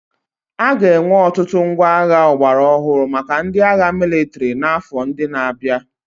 A ga-enwe ọtụtụ ngwa agha ọgbara ọhụrụ maka ndị agha mịlịtrị n'afọ ndị na-abịa.